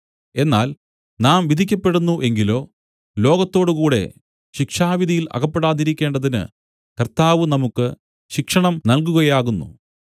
എന്നാൽ നാം വിധിക്കപ്പെടുന്നു എങ്കിലോ ലോകത്തോടുകൂടെ ശിക്ഷാവിധിയിൽ അകപ്പെടാതിരിക്കേണ്ടതിന് കർത്താവ് നമുക്ക് ശിക്ഷണം നൽകുകയാകുന്നു